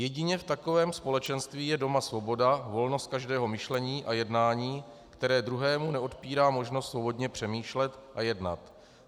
Jedině v takovém společenství je doma svoboda, volnost každého myšlení a jednání, které druhému neodpírá možnost svobodně přemýšlet a jednat.